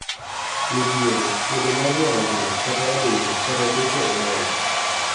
midhiero; podho mar nyarogno kata adundo; kata deko e dongo